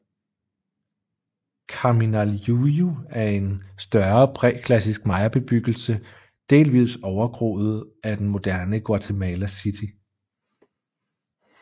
Kaminaljuyu er en større præklassisk mayabebyggelse delvis overgroet af den moderne Guatemala City